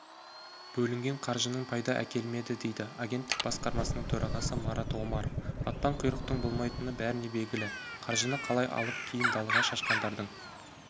бөлінген қаржының пайда әкелмеді дейді агенттік басқармасының төрағасы марат омаров батпан құйрықтың болмайтыны бәріне белгілі қаржыны қалап алып кейін далаға шашқандардың